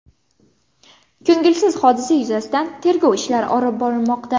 Ko‘ngilsiz hodisa yuzasidan tergov ishlari olib borilmoqda.